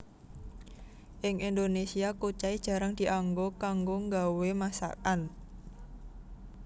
Ing Indonésia kucai jarang dianggo kanggo nggawé masakan